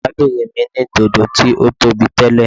Arábìnrin mi ní dodo tí ó tóbi tẹ́lẹ̀.